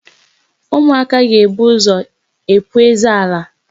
Ụmụaka ga-ebu ụzọ epu eze ala.